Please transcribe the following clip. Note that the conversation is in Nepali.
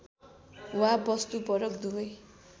वा वस्तुपरक दुवै